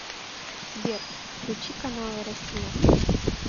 сбер включи каналы россия